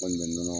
Kɔni bɛ nɔnɔ